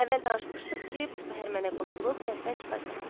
Əvvəl danışmışdıq ki, bu səhər mənə qoşulub kənddən çıxacaq.